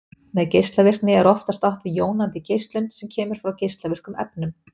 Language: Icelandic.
Með geislavirkni er oftast átt við jónandi geislun sem kemur frá geislavirkum efnum.